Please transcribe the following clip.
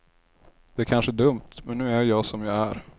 Det kanske är dumt, men nu är jag som jag är.